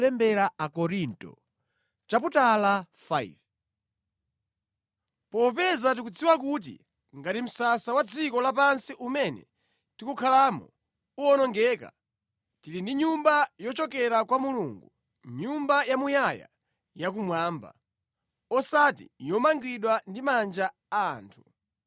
Popeza tikudziwa kuti ngati msasa wa dziko lapansi umene tikukhalamo uwonongeka, tili ndi nyumba yochokera kwa Mulungu, nyumba yamuyaya yakumwamba, osati yomangidwa ndi manja a anthu.